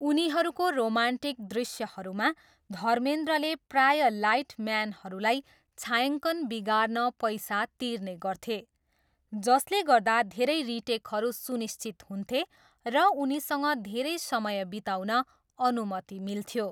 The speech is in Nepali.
उनीहरूको रोमान्टिक दृश्यहरूमा, धर्मेन्द्रले प्रायः लाइट म्यानहरूलाई छायाङ्कन बिगार्न पैसा तिर्ने गर्थे, जसले गर्दा धेरै रिटेकहरू सुनिश्चित हुन्थे र उनीसँग धेरै समय बिताउन अनुमति मिल्थ्यो।